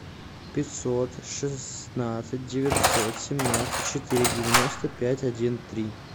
пятьсот шестнадцать девятьсот семнадцать четыре девяносто пять один три